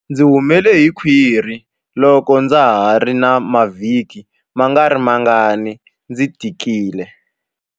Ndzi humele hi khwiri loko ndza ha ri na mavhiki mangarimangani ndzi tikile.